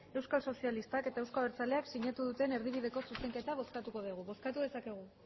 euskal sozialistak eta euzko abertzaleak sinatu duten erdibideko zuzenketa bozkatuko dugu bozkatu dezakegu